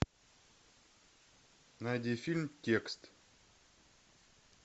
найди фильм текст